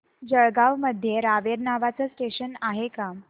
जळगाव मध्ये रावेर नावाचं स्टेशन आहे का